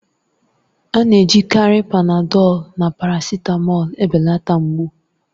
A na-ejikarị Panadọlu na parasitamọlu ebelata mgbu